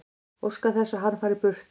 Óska þess að hann fari burt.